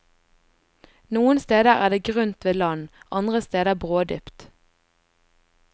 Noen steder er det grunt ved land, andre steder brådypt.